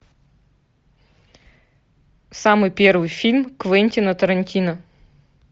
самый первый фильм квентина тарантино